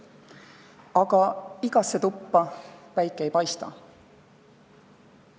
Aga igasse tuppa päike ei paista.